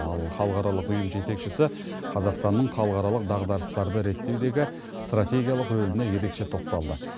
ал халықаралық ұйым жетекшісі қазақстанның халықаралық дағдарыстарды реттеудегі стратегиялық рөліне ерекше тоқталды